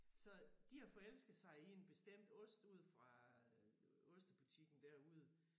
Så de har forelsket sig i en bestemt ost ude fra øh ostebutikken derude